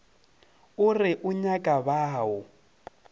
o re o nyaka bao